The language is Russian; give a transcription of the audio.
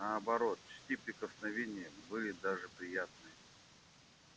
наоборот чти прикосновения были даже приятны